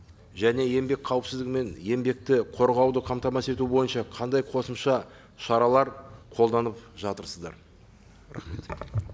және еңбек қауіпсіздігі мен еңбекті қорғауды қамтамасыз ету бойынша қандай қосымша шаралар қолданып жатырсыздар рахмет